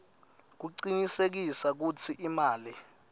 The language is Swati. kucinisekisa kutsi imali